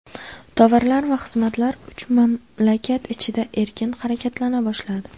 Tovarlar va xizmatlar uch mamlakat ichida erkin harakatlana boshladi.